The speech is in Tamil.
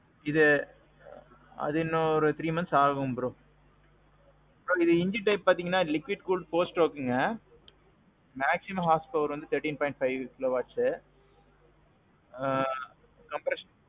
இது. அது இன்னும் three months ஆகும் bro. இதுல engine type பாத்தீங்கன்னா liquid cooled four strokeங்க. maximum horsepower வந்து thirteen point five kilowatts. ஆ. compression.